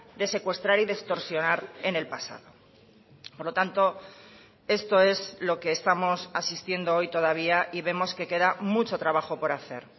de secuestrar y de extorsionar en el pasado por lo tanto esto es lo que estamos asistiendo hoy todavía y vemos que queda mucho trabajo por hacer